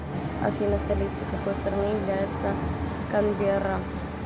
афина столицей какой страны является канберра